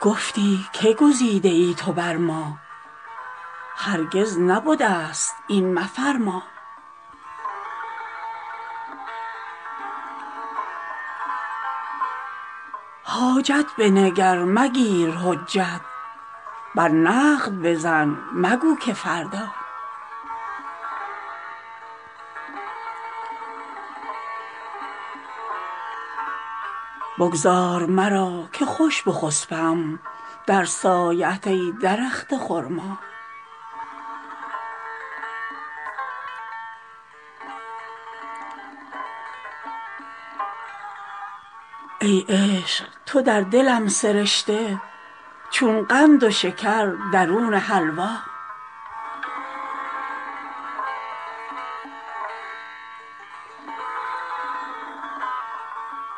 گفتی که گزیده ای تو بر ما هرگز نبدست این مفرما حاجت بنگر مگیر حجت بر نقد بزن مگو که فردا بگذار مرا که خوش بخسپم در سایه ات ای درخت خرما ای عشق تو در دلم سرشته چون قند و شکر درون حلوا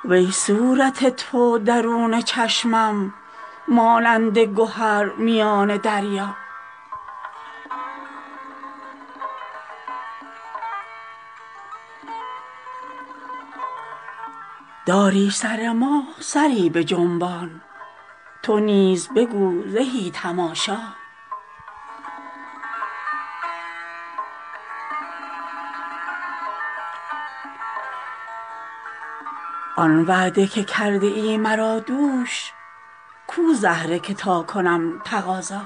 وی صورت تو درون چشمم مانند گهر میان دریا داری سر ما سری بجنبان تو نیز بگو زهی تماشا آن وعده که کرده ای مرا دوش کو زهره که تا کنم تقاضا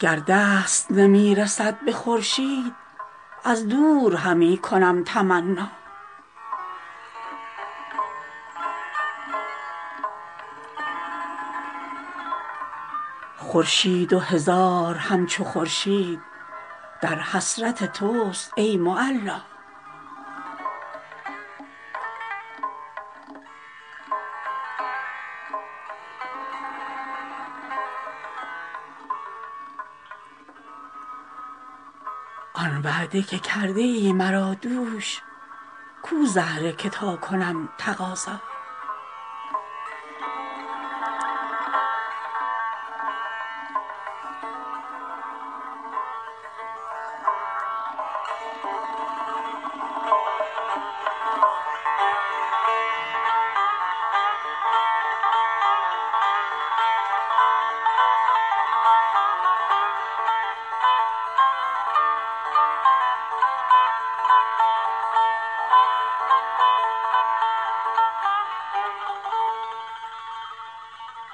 گر دست نمی رسد به خورشید از دور همی کنم تمنا خورشید و هزار همچو خورشید در حسرت تست ای معلا